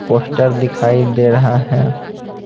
Poster दिखाई दे रहा है।